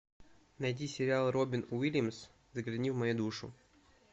найди сериал робин уильямс загляни в мою душу